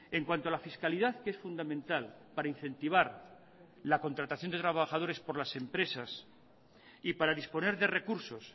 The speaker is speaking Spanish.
en cuanto a la fiscalidad que es fundamental para incentivar la contratación de trabajadores por las empresas y para disponer de recursos